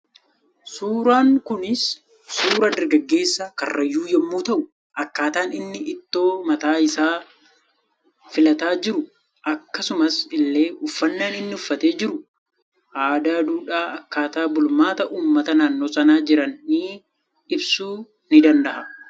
Suuraan Kuni suura dargaggessa karrayyuu yommuu ta'uu akkataan inni ito mataa isaa filatee jiru akkasumas ille uffannan inni uffatee jiruu adaa duudhaa akkaata bulmaata uummata nannnoo sana jiraanii ibsuu ni dandaha